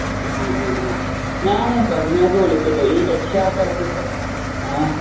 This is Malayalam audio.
അ ആ ഞാന് ഫസ്നാക്ക് വിളിച്ചത് ഈ രക്ഷാകർത്തിത്വം ഏ